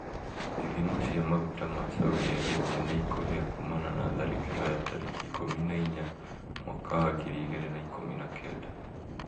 Ithima cia maguta ya Saudi Arabia nĩ kũhĩa kumana na tharĩkĩro ya tarĩki ikũmi na inya mwaka wa ngiri igĩrĩ na ikũmi na kenda